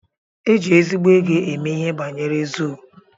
Éjị ezigbo égo eme ihe banyere zuu.